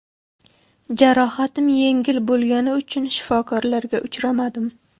Jarohatim yengil bo‘lgani uchun shifokorlarga uchrashmadim.